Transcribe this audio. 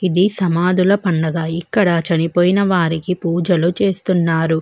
ఈ సమాధుల పండుగ ఇక్కడ చనిపోయన వారికీ పూజ చేస్తున్నారు.